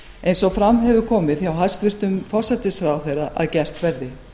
eins og fram hefur komið hjá hæstvirtum forsætisráðherra að gert verði